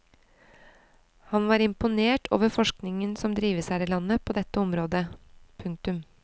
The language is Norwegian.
Han var imponert over forskningen som drives her i landet på dette området. punktum